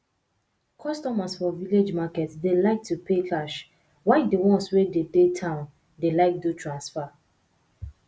customers for village market dey like to pay cash while di ones wey dey dey town dey like do transfer